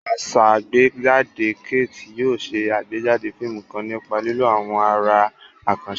Asàgbéjáde Kate yóò ṣe àgbéjáde fíìmù kan nípa lílo àwọn àrà àkànṣe.